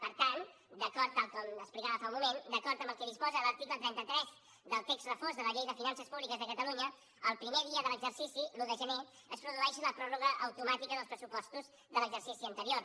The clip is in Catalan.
per tant tal com explicava fa un moment d’acord amb el que disposa l’article trenta tres del text refós de la llei de finances públiques de catalunya el primer dia de l’exercici l’un de gener es produeix la pròrroga automàtica dels pressupostos de l’exercici anterior